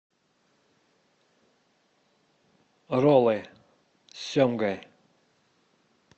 роллы с семгой